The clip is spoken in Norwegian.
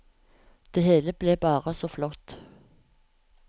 Det hele ble bare så flott.